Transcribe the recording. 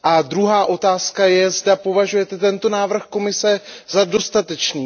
Druhá otázka je, zda považujete tento návrh Komise za dostatečný?